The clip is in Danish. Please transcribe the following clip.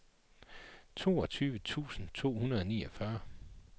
toogtyve tusind to hundrede og fireogfyrre